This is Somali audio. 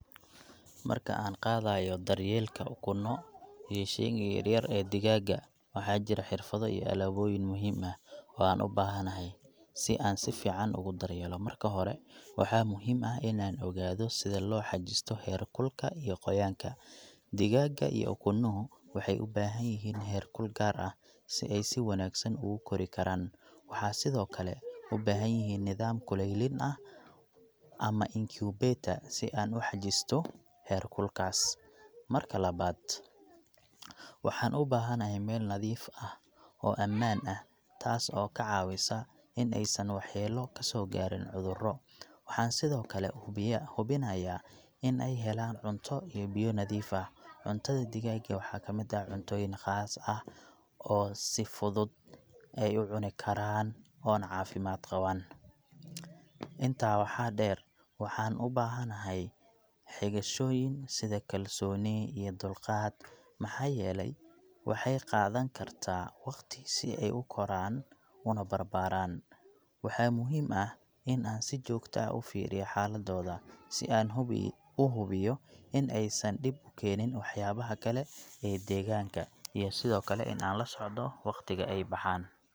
Marka aan qaadayo daryeelayka ukunno iyo shayga yar yar ee digaagga, waxaa jira xirfado iyo alaabooyin muhiim ah oo aan u baahanahay si aan si fiican ugu daryeelo. Marka hore, waxaa muhiim ah in aan ogaado sida loo xajisto heerkulka iyo qoyaanka. Digaagga iyo ukunuhu waxay u baahan yihiin heerkul gaar ah si ay si wanaagsan ugu kori karaan. Waxaan sidoo kale u baahanahay nidaam kuleylin ah ama incubator si aan u xajisto heerkulkaas. Marka labaad, waxaan u baahanahay meel nadiif ah oo ammaan ah, taas oo ka caawisa in aysan waxyeello ka soo gaarin cudurro. Waxaan sidoo kale hubinayaa in ay helaan cunto iyo biyo nadiif ah. Cuntada digaagga waxaa ka mid ah cuntooyin khaas ah oo si fudud ay u cuni karaan oo na cafimaad qabaan . Intaa waxaa dheer, waxaan u baahanahay xigashooyin sida kalsooni iyo dulqaad, maxaa yeelay waxay qaadan kartaa waqti si ay u koraan una barbaaran. Waxaa muhiim ah in aan si joogto ah u fiiriyo xaaladooda, si aan hibi.., u hubiyo in aysan dhib u keenin waxyaabaha kale ee deegaanka, iyo sidoo kale in aan la socdo waqtiga ay baxaan.